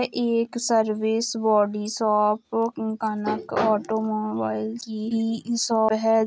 एक service body shop Kanak automobile की shop है।